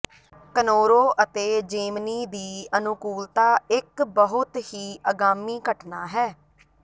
ਕਨੋਰੋ ਅਤੇ ਜੇਮਨੀ ਦੀ ਅਨੁਕੂਲਤਾ ਇੱਕ ਬਹੁਤ ਹੀ ਅਗਾਮੀ ਘਟਨਾ ਹੈ